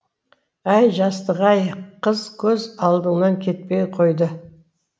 әй жастық ай қыз көз алдынан кетпей қойды